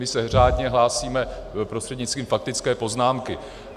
My se řádně hlásíme prostřednictvím faktické poznámky.